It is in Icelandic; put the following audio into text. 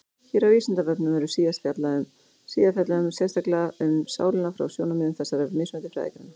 Hér á Vísindavefnum verður síðar fjallað sérstaklega um sálina frá sjónarmiðum þessara mismunandi fræðigreina.